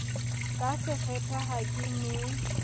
ka sekgethe ha ke ne